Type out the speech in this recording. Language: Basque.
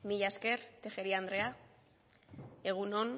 mila esker tejeria andrea egun on